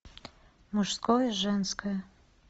мужское женское